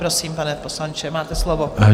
Prosím, pane poslanče, máte slovo.